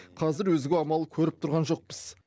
қазір өзге амал көріп тұрған жоқпыз